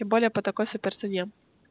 тем более по такой суперцене